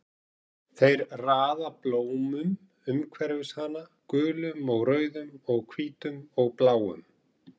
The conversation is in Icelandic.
Þeir raða blómum umhverfis hana, gulum og rauðum og hvítum og bláum.